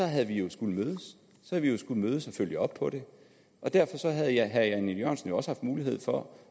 havde vi jo skullet mødes og følge op på det og derfor havde herre jan e jørgensen jo også haft mulighed for